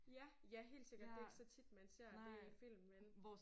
Ja ja helt sikkert. Det ikke så tit man ser det i film vel